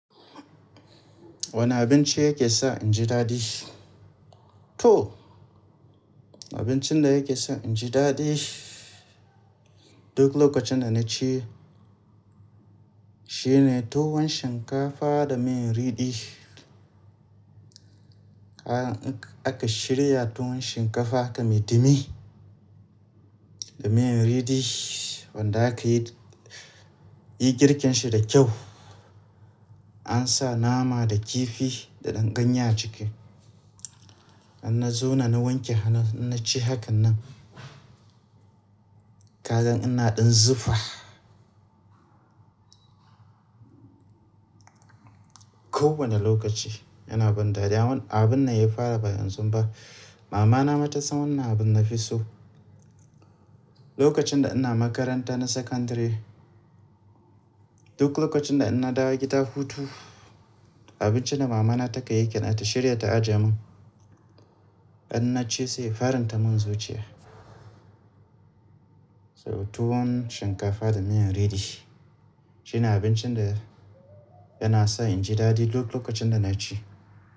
Wane abinci yake sa inji dadi? To abincin da yake sa inji dadi duk lokacin da na ci, shine tuwon shinkafa da miyan riɗi. Kagan in aka shirya tuwon shinkafa haka mai dimi da miyan riɗi, wanda aka yi girkin shi da kyau, an sa nama da kifi da ɗan ganye a ciki. Idan na zauna na wanke hannu na ci hakan nan, ka gan ina ɗan zufa. Kowane lokaci yana ban dadi. Abun nan ya fara ba yanzu ba. Mamana ma tasan wannan abun nafi so. Lokacin da ina makaranta na sakandare, duk lokacin da ina dawo gida hutu, abincin da mamana take yi kenan ta shirya ta ajiye mun. Idan na ci sai ya faran ta mun zuciya. So tuwon shinkafa da miyan riɗi shine abincin da yana sa inji dadi duk lokacin da na ci.